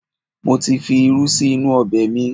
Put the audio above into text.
Mo ti fi irú sí inú ọbẹ̀ mi